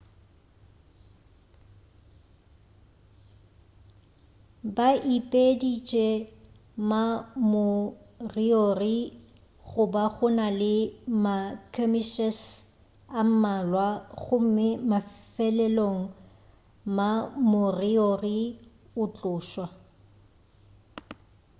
ba ipeditše ma-moriori go ba go na le ma-skirmishes a mmalwa gomme mafelelong ma-moriori a tlošwa